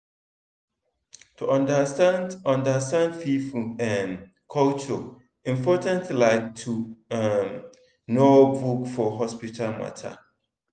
to understand understand people um culture important like to um know book for hospital matter.